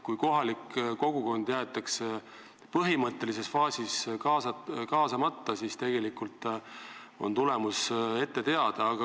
Kui kohalik kogukond jäetakse põhilises faasis kaasamata, siis on tulemus ette teada.